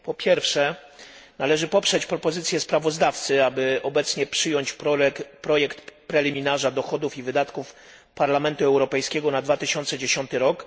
Po pierwsze, należy poprzeć propozycję sprawozdawcy, aby obecnie przyjąć projekt preliminarza dochodów i wydatków Parlamentu Europejskiego na 2010 r.